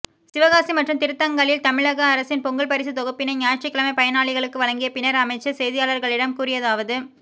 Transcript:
சிவகாசி மற்றும் திருத்தங்கலில் தமிழக அரசின் பொங்கல் பரிசு தொகுப்பினை ஞாயிற்றுக்கிழமை பயனாளிகளுக்கு வழங்கிய பின்னா் அமைச்சா் செய்தியாளா்களிடம் கூறியதாவது